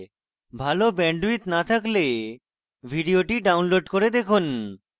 ভাল bandwidth না থাকলে ভিডিওটি download করে দেখুন